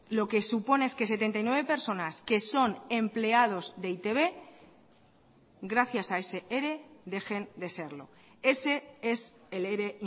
lo que supone es que setenta y nueve personas que son empleados de e i te be gracias a ese ere dejen de serlo ese es el ere